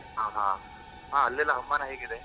ಹಾ ಹಾ, ಹಾ ಅಲ್ಲೆಲ್ಲ ಹವಾಮಾನ ಹೇಗಿದೆ?